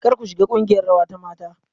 Kar ku shiga kungiyar rawa ta mata.